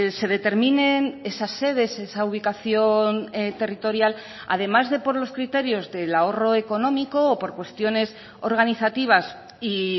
se determinen esas sedes esa ubicación territorial además de por los criterios del ahorro económico o por cuestiones organizativas y